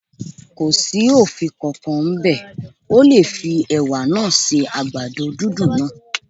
Kò sí òfin kan kan ń bẹ̀, o lè fi Ẹ̀wà náà se àgbàdo dúndùn náà.